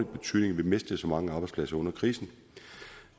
betydning vi mistede mange arbejdspladser under krisen